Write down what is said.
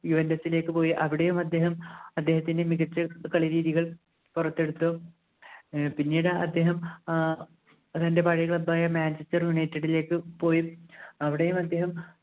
ലേക്ക് പോയി അവിടെയും അദ്ദേഹം അദ്ദേഹത്തിൻ്റെ മികച്ച കളി രീതികൾ പുറത്തെടുത്തു ഏർ പിന്നീട് അദ്ദേഹം ഏർ തൻ്റെ പഴയ club ആയ Manchester United ലേക്ക് പോയി അവിടെയും അദ്ദേഹം